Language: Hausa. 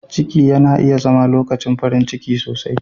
Ciki yana iya zama lokacin farin ciki sosai.